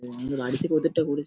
NGO. দাঁড়ি থেকে ওদেরটা করেছে ।